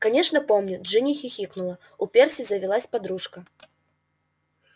конечно помню джинни хихикнула у перси завелась подружка